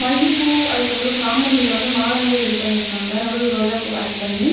மல்லிப்பூ அதுக்கப்றோ சாமந்தில வந்து மால மாரி ரெடி பண்ணி இருக்காங்க நடுவுல ரோஜாப் பூ ஆட் பண்ணி.